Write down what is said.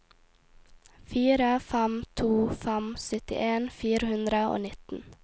fire fem to fem syttien fire hundre og nitten